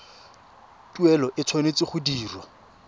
tuelo e tshwanetse go dirwa